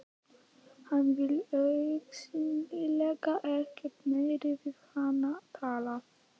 Hann vill augsýnilega ekkert meira við hana tala.